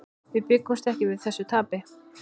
Við bjuggumst ekki við þessu tapi.